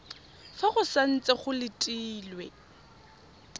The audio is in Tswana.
fa go santse go letilwe